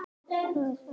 Hann hjólaði eftir